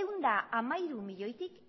ehun eta hamairu milioitik